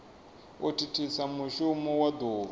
u thithisa mushumo wa duvha